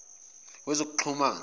wezokuxhumana